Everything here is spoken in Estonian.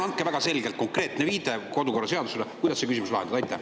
Palun andke väga selge konkreetse viitega kodukorraseadusele, kuidas see küsimus lahendada.